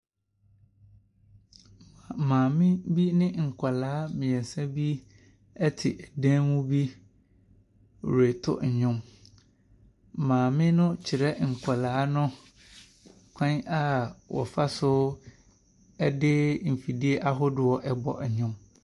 Maame bi ne nkwadaa mmeɛnsa bi te dan mu bi reto nnwom. Maame no kyerɛ nkwadaa no kwan a wɔfa so de mfidie ahodoɔ bɔ nnwom.